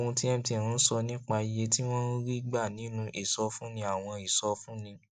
ohun tí mtn ń sọ nípa iye tí wọn ń rí gbà nínú ìsọfúnni àwọn ìsọfúnni